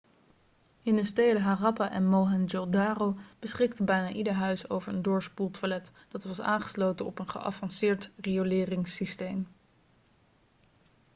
in de steden harappa en mohenjodaro beschikte bijna ieder huis over een doorspoeltoilet dat was aangesloten op een geavanceerd rioleringssysteem